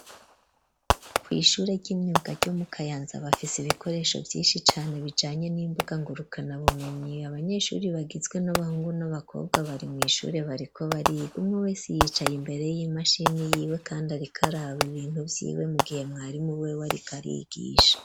Kwishuri shure ry'imyuka ryo mu kayanza bafise ibikoresho vyinshi cane bijanye n'imbuga ngurukana bumenyi Abanyeshuri bagizwe n'abahungu n'abakobwa bari mwishure bariko bariga umwe wese yicaye imbere y'imashini yiwe kandi arikaraba ibintu vyiwe mugihe mwarimu we ariko arigisha.